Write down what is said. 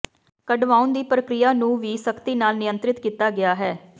ਕਢਵਾਉਣ ਦੀ ਪ੍ਰਕਿਰਿਆ ਨੂੰ ਵੀ ਸਖ਼ਤੀ ਨਾਲ ਨਿਯੰਤ੍ਰਿਤ ਕੀਤਾ ਗਿਆ ਹੈ